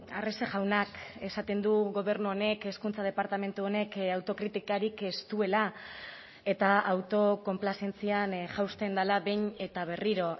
arrese jaunak esaten du gobernu honek hezkuntza departamentu honek autokritikarik ez duela eta auto konplazentzian jausten dela behin eta berriro